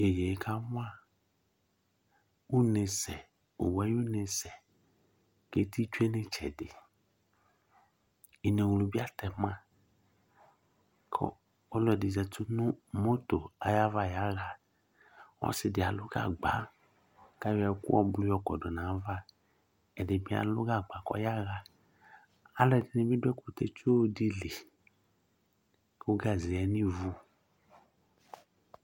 Yeye kawa une sɛ, owu ayʋune sɛ, keti tsue nɩtsɛdɩInewlu bɩ atɛ ma, kʋ ɔlɔdɩ zati nʋ moto ayava yaɣaƆsɩ dɩ alʋ gagba kʋ ayɔ ɛkʋ yɔkɔdʋ nayavaƐdɩ bɩ alʋ gagba kɔyaɣa, alʋ ɛdɩnɩ bɩ dʋ ɛkʋtɛ tsɔ dɩ li kʋ gaze yǝ nivu